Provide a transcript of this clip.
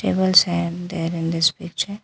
Tables are there in this picture.